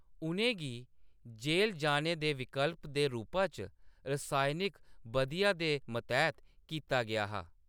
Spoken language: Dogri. उʼनें गी जेल जाने दे विकल्प दे रूपा च रासायनिक बधिया दे मतैह्‌‌‌त कीता गेआ हा।